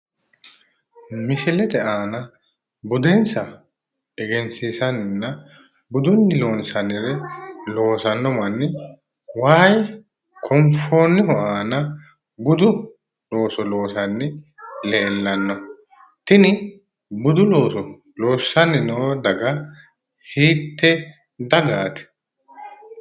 Misilete aana budensa egensiisanninna budunni loonsannire loosanno manni wayi konfoonnihu aana budu looso loosanni leellanno. Tini budu looso loossanni noo daga hiitte dagaati?